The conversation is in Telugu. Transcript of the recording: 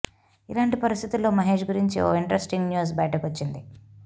ఇలాంటి పరిస్థితుల్లో మహేశ్ గురించి ఓ ఇంట్రెస్టింగ్ న్యూస్ బయటకు వచ్చింది